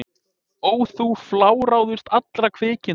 Ó þú fláráðust allra kvikinda!